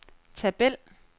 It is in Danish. tabel